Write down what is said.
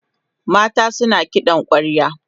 matan suna kiɗan kwarya